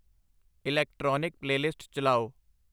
electronic playlist ਚਲਾਓ